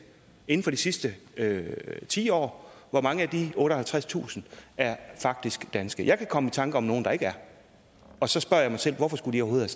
inden for de sidste ti år hvor mange af de otteoghalvtredstusind er faktisk danske jeg kan komme i tanke om nogle der ikke er og så spørger jeg mig selv hvorfor skulle de overhovedet